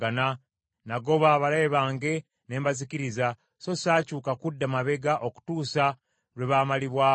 “Nagoba abalabe bange ne mbazikiriza, so saakyuka kudda mabega okutuusa lwe baamalibwawo.